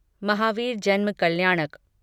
महावीर जन्म कल्याणक